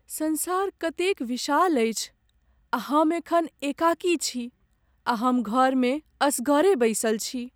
संसार कतेक विशाल अछि आ हम एखन एकाकी छी आ हम घरमे असगरे बैसल छी।